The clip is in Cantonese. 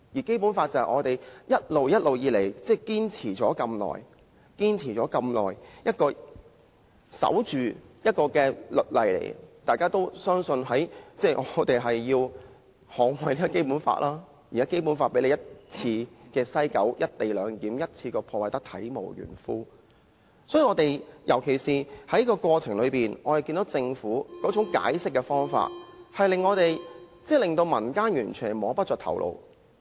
《基本法》是我們一直堅守了這麼久的律例，相信大家也要捍衞《基本法》，但現在《基本法》被西九龍站的"一地兩檢"安排一次過破壞得體無完膚，尤其是在過程中，我們看到政府解釋的方法，簡直令民間完全摸不着頭腦。